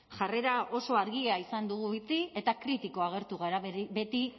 jarrera oso argia izan dugu beti eta kritiko agertu gara beti